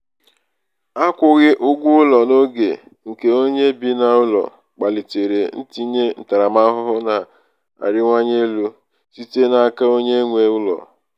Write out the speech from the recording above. akwughi ụgwọ ụlọ n'oge nke onye bi n'ụlọ kpalitere um ntinye ntaramahụhụ na-arịwanye elu um site n'aka onye nwe ụlọ. nwe ụlọ. um